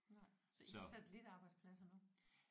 Nej så I har satellitarbejdspladser nu?